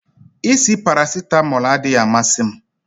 Isi paracetamol adịghị amasị m